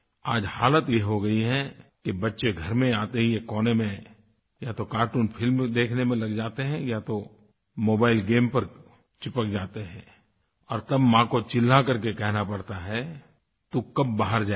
आज हालत ये हो गई है कि बच्चे घर में आते ही एक कोने में या तो कार्टून फिल्म देखने में लग जाते हैं या तो मोबाइल गेम पर चिपक जाते हैं और तब माँ को चिल्ला करके कहना पड़ता है तू कब बाहर जाएगा